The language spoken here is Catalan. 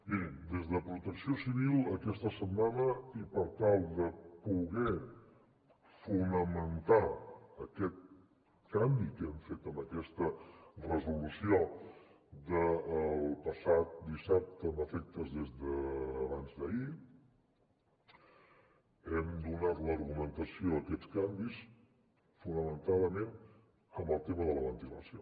mirin des de protecció civil aquesta setmana i per tal de poder fonamentar aquest canvi que hem fet amb aquesta resolució del passat dissabte amb efectes des d’abans d’ahir hem donat l’argumentació a aquests canvis fonamentadament amb el tema de la ventilació